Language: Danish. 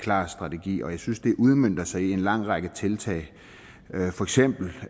klar strategi og jeg synes at det udmønter sig i en lang række tiltag for eksempel